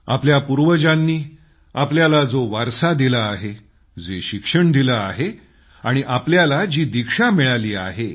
आपल्या पूर्वजांनी आपल्याला जो वारसा दिला आहे जे शिक्षण दिलं आहे आणि आपल्याला जी दीक्षा मिळाली आहे